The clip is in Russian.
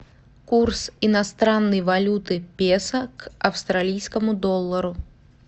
курс иностранной валюты песо к австралийскому доллару